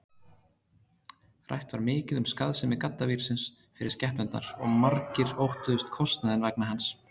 Rætt var mikið um skaðsemi gaddavírsins fyrir skepnurnar og margir óttuðust kostnaðinn vegna hans.